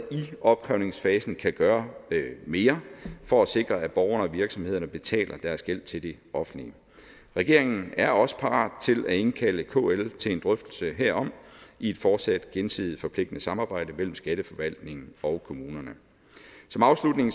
opkrævningsfasen kan gøre mere for at sikre at borgerne og virksomhederne betaler deres gæld til det offentlige regeringen er også parat til at indkalde kl til en drøftelse herom i et fortsat gensidigt forpligtende samarbejde mellem skatteforvaltningen og kommunerne som afslutning